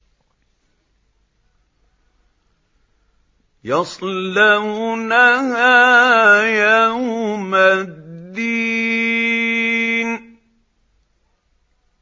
يَصْلَوْنَهَا يَوْمَ الدِّينِ